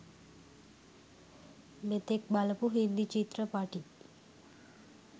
මෙතෙක් බලපු හින්දි චිත්‍රපටි